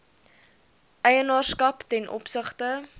eienaarskap ten opsigte